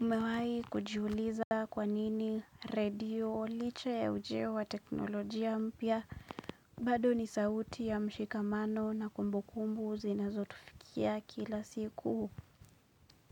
Umewahi kujiuliza kwa nini redio, licha ya ujio wa teknolojia mpya, bado ni sauti ya mshikamano na kumbukumbu zinazotufikia kila siku